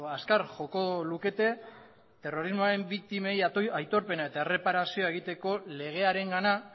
azkar joko lukete terrorismoaren biktimei aitorpena eta erreparazioa egiteko legearengana